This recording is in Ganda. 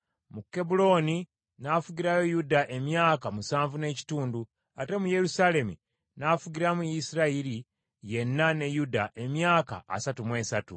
Mu Kebbulooni n’afugirayo Yuda emyaka musanvu n’ekitundu, ate mu Yerusaalemi n’afugiramu Isirayiri yenna ne Yuda emyaka asatu mu esatu.